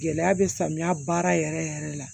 Gɛlɛya bɛ samiya baara yɛrɛ yɛrɛ la